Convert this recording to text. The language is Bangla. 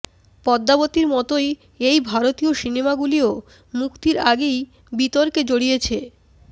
পদ্মাবতীর মতোই এই ভারতীয় সিনেমাগুলিও মুক্তির আগেই বিতর্কে জড়িয়েছে